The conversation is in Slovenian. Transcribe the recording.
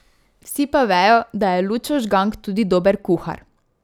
Vsi pa vejo, da je Lučo Žgank tudi dober kuhar ...